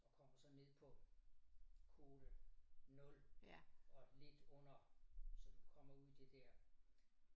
Og kommer så ned på kvote 0 og lidt under så du kommer ud i det der